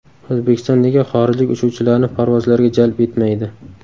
O‘zbekiston nega xorijlik uchuvchilarni parvozlarga jalb etmaydi?.